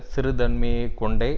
சிறுமைத்தன்மையைக் கொண்டே